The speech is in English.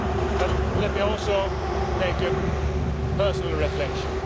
But let me also make a personal reflection.